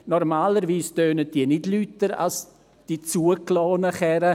Normalerweise tönen sie nicht lauter als die zugelassenen Wagen.